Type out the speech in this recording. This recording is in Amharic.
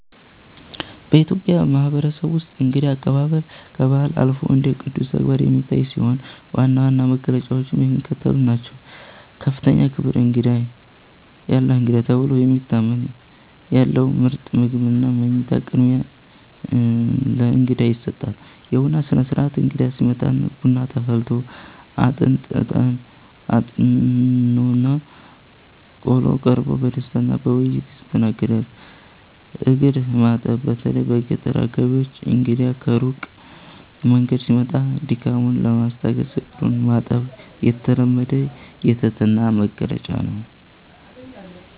በኢትዮጵያ ማህበረሰብ ውስጥ እንግዳ አቀባበል ከባህል አልፎ እንደ ቅዱስ ተግባር የሚታይ ሲሆን፣ ዋና ዋና መገለጫዎቹም የሚከተሉት ናቸው፦ ከፍተኛ ክብር፦ እንግዳ "የአላህ እንግዳ" ተብሎ ስለሚታመን፣ ያለው ምርጥ ምግብና መኝታ ቅድሚያ ለእንግዳ ይሰጣል። የቡና ሥነ-ሥርዓት፦ እንግዳ ሲመጣ ቡና ተፈልቶ፣ አጥንት (እጣን) ታጥኖና ቆሎ ቀርቦ በደስታና በውይይት ይስተናገዳል። እግር ማጠብ፦ በተለይ በገጠር አካባቢዎች እንግዳ ከሩቅ መንገድ ሲመጣ ድካሙን ለማስታገስ እግሩን ማጠብ የተለመደ የትህትና መግለጫ ነው።